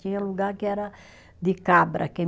Tinha lugar que era de cabra.